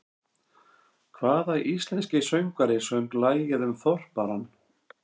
Hvaða íslenski söngvari söng lagið um Þorparann?